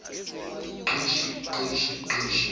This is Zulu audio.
gqishi gqishi gqishi